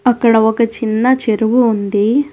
అక్కడ ఒక చిన్న చెరువు ఉంది.